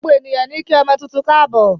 Gbogbo ènìyàn níí kí ọmọ tuntun káàbò.